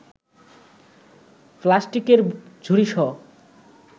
প্লাস্টিকের ঝুড়িসহ